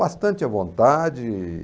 Bastante à vontade.